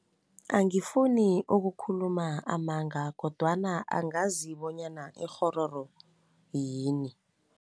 Angifuni ukukhuluma amanga kodwana angazi bonyana ikghororo yini.